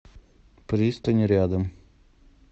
пристань рядом